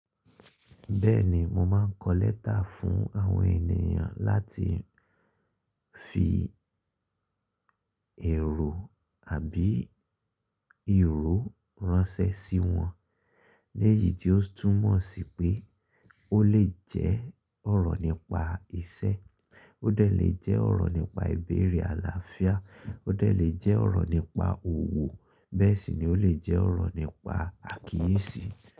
Bẹ́ẹ̀ni, mo máà ń kọlẹ́tà fún àwọn ènìyàn láti fi èrò àbí ìró ránṣẹ́ sí wọn. Lẹ́yìí tí ó túmọ̀ sí pé ó lè jẹ́ ọ̀rọ̀ nípa iṣẹ́, ó de le jẹ́ ọ̀rọ̀ nípa ìbéèrè àlàáfíà, ó de le jẹ́ ọ̀rọ̀ nípa òwò, bẹ́ẹ̀ sì ni ó le jẹ́ ọ̀rọ̀ nípa àkíyèsí.